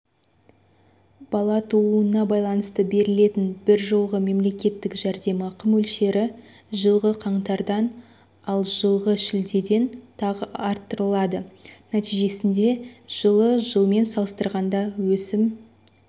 бала тууына байланысты берілетін бір жолғы мемлекеттік жәрдемақы мөлшері жылғы қаңтардан ал жылғы шілдеден тағы арттырылады нәтижесінде жылы жылмен салыстырғанда өсім